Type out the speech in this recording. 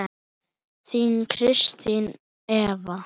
Þín Kristín Eva.